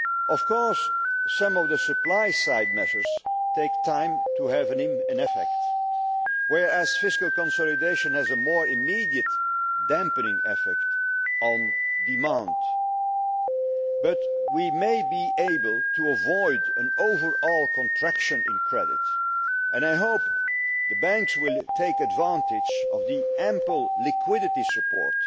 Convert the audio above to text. Of course, some of the supply side measures take time to have an effect, whereas fiscal consolidation has a more immediate dampening effect on demand. But we may be able to avoid an overall contraction in credit and I hope the banks will take advantage of the ample liquidity